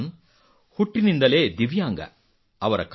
ಸಲ್ಮಾನ್ ಹುಟ್ಟಿನಿಂದಲೇ ದಿವ್ಯಾಂಗ